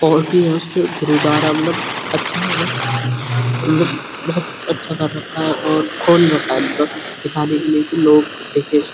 और फिर खुद उतारा मलब अच्छा है बस मलब बहुत अच्छा कर रखा है और खोल रखा है मलब दिखने के लिए लोग देखें इस --